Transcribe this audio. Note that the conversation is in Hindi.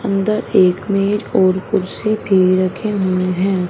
अंदर एक मेज और कुर्सी भी रखे हुए हैं।